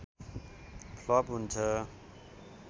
flop हुन्छ